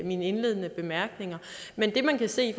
mine indledende bemærkninger men det man kan se i